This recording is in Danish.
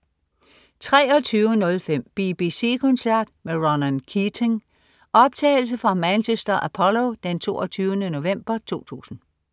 23.05 BBC koncert med Ronan Keating. Optagelse fra Manchester Apollo, 22. november 2000